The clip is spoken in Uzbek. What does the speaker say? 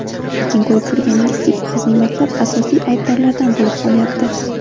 Lekin ko‘rib turganingizdek bizning maktab asosiy aybdorlardan bo‘lib qolyapti.